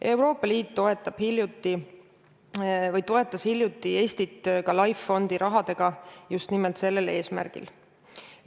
Euroopa Liit toetas hiljuti Eestit ka LIFE fondi rahaga just nimel sellel eesmärgil.